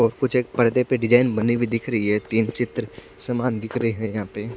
और कुछ एक पर्दे पे डिजाईन बनी उई दिख रही है तीन चित्र समान दिख रहे है यहाँ पे--